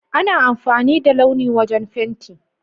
Ana amfani da launi wajen fenti.